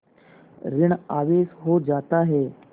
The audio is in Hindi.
ॠण आवेश हो जाता है